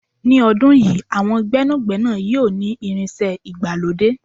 ní ọdún yìí, àwọn gbénàgbénà yíò ni irinṣẹ́ ìgbàlódé